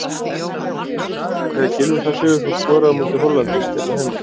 Fyrsta hugsunin þegar Gylfi Þór Sigurðsson skoraði á móti Hollandi hérna heima?